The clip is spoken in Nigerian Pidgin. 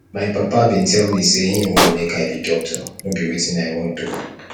my papa bin tell me sey him want make i be doctor no be wetin i want o